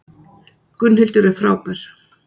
Gunnhildur er frábær.